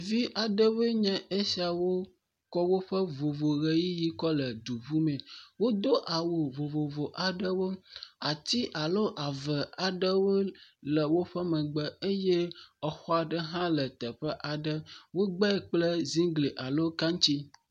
Vi aɖewoe nye esiawo kɔ woƒe vovoʋeyiʋi kɔ le du ŋumee wodo awu vovovo aɖewo, ati alo ave aɖewo le woƒe megbe eye exɔ aɖe hã le teƒe aɖe wo gbee kple ziŋglia lo kaŋtsi.